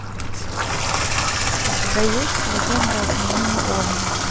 у тебя есть легенда о княгине ольге